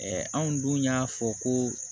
anw dun y'a fɔ ko